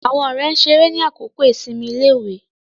Àwọn ọ̀rẹ́ ṣeré ni àkókò ìsinmi iléèwé